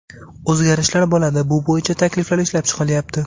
O‘zgarishlar bo‘ladi, bu bo‘yicha takliflar ishlab chiqilyapti.